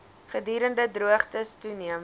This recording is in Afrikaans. gedurende droogtes toeneem